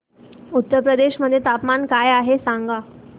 उत्तर प्रदेश मध्ये तापमान काय आहे सांगा